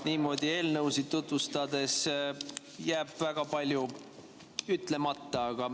Niimoodi eelnõusid tutvustades jääb väga palju ütlemata.